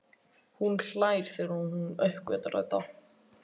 Hún hlær þegar hún uppgötvar þetta.